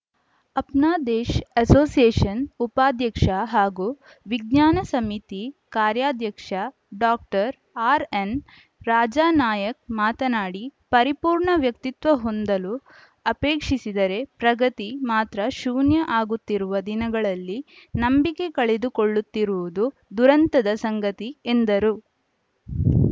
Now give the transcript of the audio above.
Apnadesh association ಉಪಾಧ್ಯಕ್ಷ ಹಾಗೂ ವಿಜ್ಞಾನ ಸಮಿತಿ ಕಾರ್ಯಾಧ್ಯಕ್ಷ ಡಾಕ್ಟರ್ ಆರ್‌ಎನ್‌ ರಾಜಾನಾಯಕ್‌ ಮಾತನಾಡಿ ಪರಿಪೂರ್ಣ ವ್ಯಕ್ತಿತ್ವ ಹೊಂದಲು ಅಪೇಕ್ಷಿಸಿದರೆ ಪ್ರಗತಿ ಮಾತ್ರ ಶೂನ್ಯ ಆಗುತ್ತಿರುವ ದಿನಗಳಲ್ಲಿ ನಂಬಿಕೆ ಕಳೆದುಕೊಳ್ಳುತ್ತಿರುವುದು ದುರಂತದ ಸಂಗತಿ ಎಂದರು